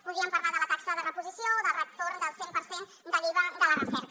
podríem parlar de la taxa de reposició o del retorn del cent per cent de l’iva de la recerca